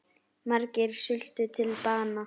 Margir sultu til bana.